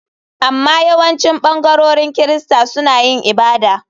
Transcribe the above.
Amma yawancin ɓangarorin Kirista suna yin ibada.